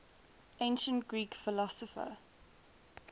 ancient greek philosopher